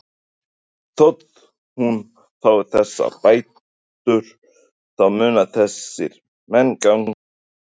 Þór: Þótt hún fái þessar bætur þá munu þessir menn ganga lausir?